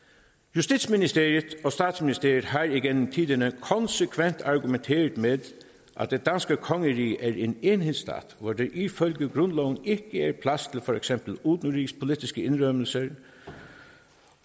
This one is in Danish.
justitsministeriet og statsministeriet har igennem tiderne konsekvent argumenteret med at det danske kongerige er en enhedsstat hvor der ifølge grundloven ikke er plads til for eksempel udenrigspolitiske indrømmelser